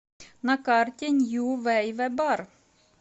на карте нью вэйвэ бар